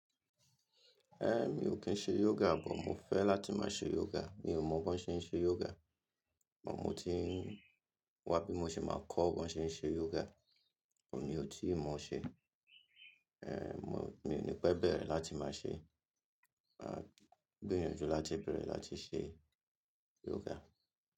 Ẹn, mi ò kín ṣe yoga, but mo fẹ́ láti máa ṣe yoga. Mi ò mọ bí wón ṣe ń ṣe yoga, but mo ti ń wá bí mo ṣe máa kọ́ bí wón ṣe ń ṣe yoga, but mi ò tíì mọ ṣe. Ẹn, mo, mi ò ní pẹ́ bẹ̀rẹ̀ láti máa ṣe, à, gbìyànjú láti bẹ̀rẹ̀ láti ṣe yoga.